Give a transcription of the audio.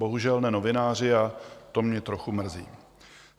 Bohužel ne novináři, a to mě trochu mrzí.